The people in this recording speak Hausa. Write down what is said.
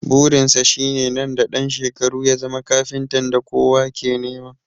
Burin sa shine nan da ɗan shekaru ya zama kafintan da kowa ke nema